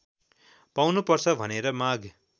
पाउनुपर्छ भनेर माग